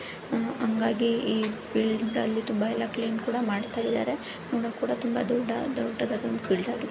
ಹಂಗಾಗಿ ಈ ಫೀಲ್ಡ್ ಅಲ್ಲಿತುಂಬಾ ಎಲ್ಲಾ ಕ್ಲೀನ್ ಮಾಡ್ತಾ ಇದ್ದಾರೆ ನೋಡೋಕೆ ತುಂಬಾ ದೊಡ್ಡದಾದ ಫೀಲ್ಡ್ ಆಗಿದೆ.